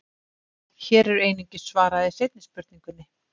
Hér er einungis svarað seinni spurningunni.